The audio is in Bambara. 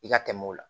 I ka tɛmɛ o la